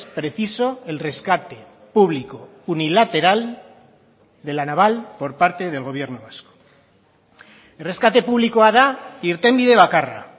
preciso el rescate público unilateral de la naval por parte del gobierno vasco erreskate publikoa da irtenbide bakarra